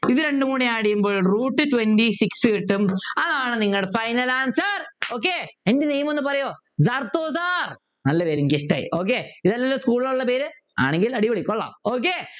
ഇതുരണ്ടുംകൂടി add ചെയ്യുമ്പോൾ Root twenty six കിട്ടും അതാണ് നിങ്ങൾ final answer okay എൻ്റെ name ഒന്ന് പറയോ നല്ല പേര് എനിക്കിഷ്ടായി okay ഇതല്ല school ൽ ഉള്ള പേര് ആണെങ്കിൽ അടിപൊളി കൊള്ളാം okay